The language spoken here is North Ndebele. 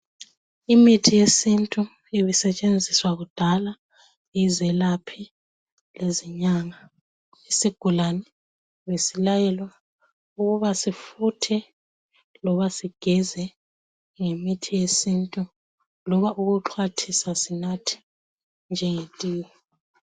Imithi yesintu ibisetshenziswa kudala yizelaphi lezinyanga. Isigulane besilayelwa ukuba sifuthe loba sigeze ngemithi yesintu loba ukuxhwathisa sinathe nje ngetiye.